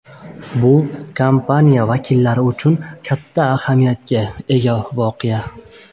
Bu kompaniya xodimlari uchun katta ahamiyatga ega voqea.